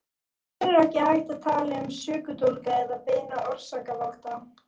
Í raun er ekki hægt að tala um sökudólga eða beina orsakavalda.